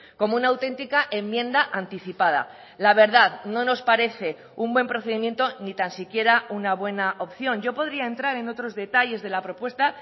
como una auténtica enmienda anticipada la verdad no nos parece un buen procedimiento ni tan siquiera una buena opción yo podría entrar en otros detalles de la propuesta